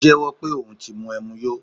O jẹ́wó̩ pe oun ti mu ẹmu yó